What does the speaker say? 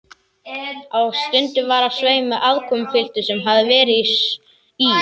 Og stundum var á sveimi aðkomupiltur sem hafði verið í